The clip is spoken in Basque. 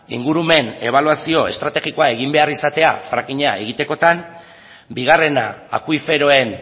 ingurumen ebaluazio estrategikoa egin behar izatea frackinga egitekotan bigarrena akuiferoen